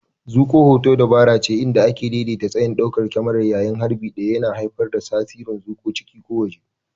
Zuƙo hoto dabarace inda ake daidaita tsayin daukar kyamarar yayin harbi ɗaya, yana haifar da tasirin zuƙowa ciki ko waje.